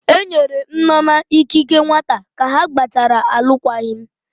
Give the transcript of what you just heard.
Enyere Nneoma ikike nwata ka ha gbachara alụkwaghịm